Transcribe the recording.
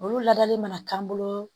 Olu ladali mana k'an bolo